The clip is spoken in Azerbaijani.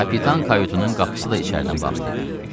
Kapitan kayutunun qapısı da içəridən bağlı idi.